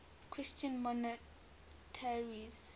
christian monasteries